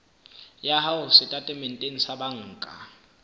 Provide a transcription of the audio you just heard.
ya hao setatementeng sa banka